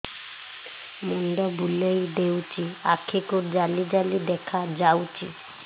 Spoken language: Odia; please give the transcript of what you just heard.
ମୁଣ୍ଡ ବୁଲେଇ ଦେଉଛି ଆଖି କୁ ଜାଲି ଜାଲି ଦେଖା ଯାଉଛି